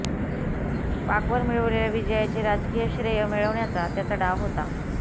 पाकवर मिळविलेल्या विजयाचे राजकीय श्रेय मिळवण्याचा त्यांचा डाव होता